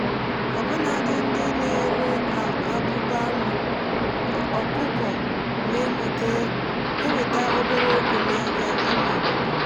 ọbụnadị ndị na-ere abụbà anụ um ọkụkọ na-enweta obere ego n’ahịa ime obodo.